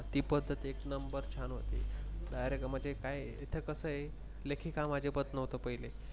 ती पद्धत एक नंबर छान होती Direct म्हणजे काय आहे तिथे कस आहे. लेखिकाम अजिबात नव्हतं पहिले.